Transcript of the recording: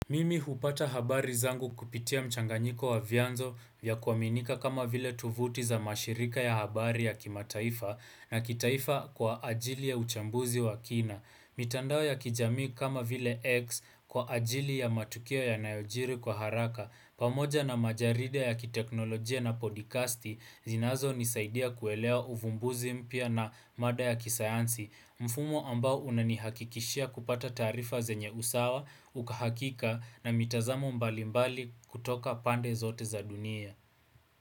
Mimi hupata habari zangu kupitia mchanganyiko wa vyanzo vya kuaminika kama vile tuvuti za mashirika ya habari ya kimataifa na kitaifa kwa ajili ya uchambuzi wa kina. Mitandao ya kijami kama vile X kwa ajili ya matukuo yanayojiri kwa haraka, pamoja na majarida ya kiteknolojia na podikasti, zinazonisaidia kuelewa uvumbuzi mpya na mada ya kisayansi, mfumo ambao unanihakikishia kupata tarifa zenye usawa, uhakika na mitazamo mbalimbali kutoka pande zote za dunia.